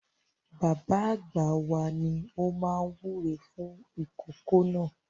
Bàbá àgbà wa ni ó máa wúre fún ìkòkò náà.